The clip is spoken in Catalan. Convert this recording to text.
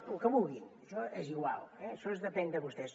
lo que vulguin això és igual això depèn de vostès